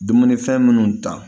Dumunifɛn minnu ta